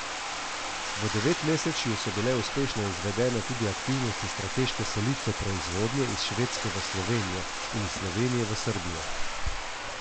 V devetmesečju so bile uspešno izvedene tudi aktivnosti strateške selitve proizvodnje iz Švedske v Slovenijo in iz Slovenije v Srbijo.